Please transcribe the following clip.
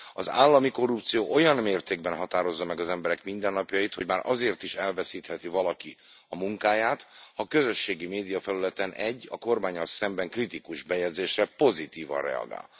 Az állami korrupció olyan mértékben határozza meg az emberek mindennapjait, hogy már azért is elveszítheti valaki a munkáját, ha közösségi médiafelületen egy, a kormánnyal szembeni kritikus bejegyzésre pozitívan reagál.